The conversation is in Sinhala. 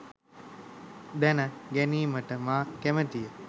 දැන ගැනීමට මා කැමතිය